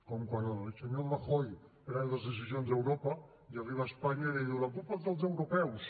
com quan el senyor rajoy pren les decisions a europa i arriba a espanya i li diu la culpa és dels europeus